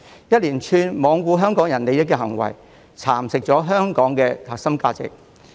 一連串罔顧香港人利益的行為，蠶食了香港的核心價值。